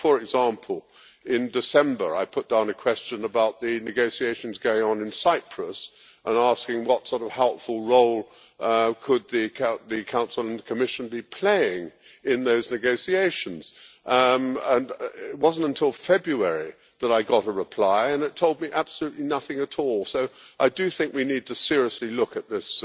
For example, in December I put down a question about the negotiations going on in Cyprus and asking what sort of helpful role could the Council and Commission be playing in those negotiations, and it was not until February that I got a reply and it told me absolutely nothing at all, so I do think we need to seriously look at this